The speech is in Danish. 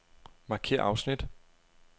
Markér afsnit.